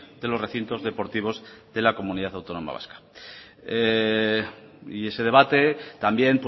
de los recintos deportivos de la comunidad autónoma vasca ese debate también